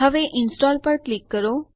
હવે ઇન્સ્ટોલ પર ક્લિક કરો